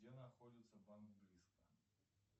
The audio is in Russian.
где находится банк близко